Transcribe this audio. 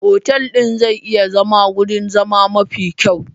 Otal ɗin zai iya zama wurin zama mafi kyau.